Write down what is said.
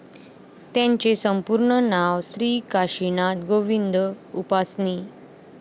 त्यांचे संपूर्ण नाव श्री काशिनाथ गोविंद उपासनी.